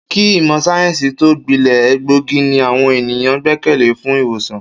Kí ìmò̩ sáyé̩ǹsì tó gbile̩, egbòogi ni àwo̩n ènìyàn gbé̩kè̩lé fún ì̀wòsàn